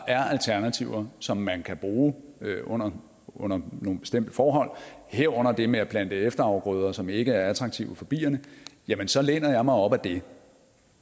er alternativer som man kan bruge under under nogle bestemte forhold herunder det med at plante efterafgrøder som ikke er attraktive for bierne så læner jeg mig op ad det